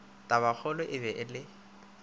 tabakgolo e be e le